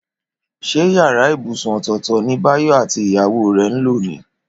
Ṣé yàrá ibùsùn ọ̀tọ̀ọ̀tọ̀ ni Báyọ̀ àti ìyàwó rẹ̀ ń lò ní?